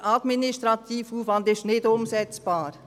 Der administrative Aufwand sei nicht umsetzbar.